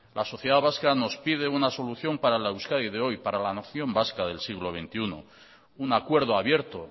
la sociedad vasca nos pide una solución para la euskadi de hoy para la nación vasca del siglo veintiuno un acuerdo abierto